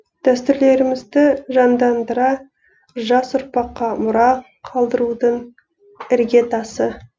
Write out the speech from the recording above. дәстүрлерімізді жандандыра жас ұрпаққа мұра қалдырудың іргетасы